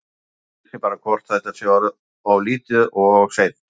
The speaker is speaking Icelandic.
Maður spyr sig bara hvort að þetta sé of lítið og of seint?